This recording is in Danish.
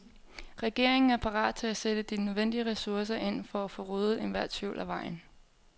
Regeringen er parat til at sætte de nødvendige ressourcer ind for at få ryddet enhver tvivl af vejen.